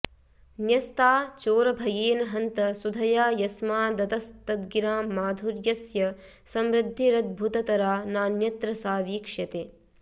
न्यस्ता चोरभयेन हन्त सुधया यस्मादतस्तद्गिरां माधुर्यस्य समृद्धिरद्भुततरा नान्यत्र सा वीक्ष्यते